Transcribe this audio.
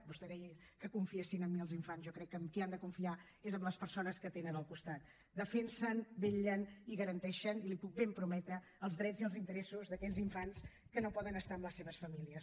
vostè deia que confiessin en mi els infants jo crec que en qui han de confiar és en les persones que tenen al costat defensen vetllen i garanteixen i l’hi puc ben prometre els drets i els interessos d’aquells infants que no poden estar amb les seves famílies